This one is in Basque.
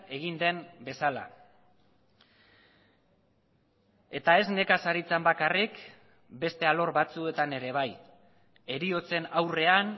egin den bezala eta ez nekazaritzan bakarrik beste alor batzuetan ere bai heriotzen aurrean